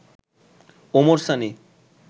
Omar Sani